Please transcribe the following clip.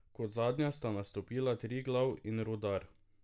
Kot zadnja sta nastopila Triglav in Rudar.